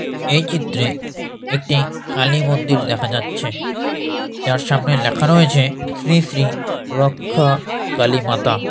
এই চিত্রে একটি কালীমন্দির দেখা যাচ্ছে যার সামনে লেখা রয়েছে শ্রী শ্রী রক্ষা কালীমাতা।